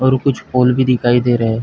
और कुछ फूल भी दिखाई दे रहे--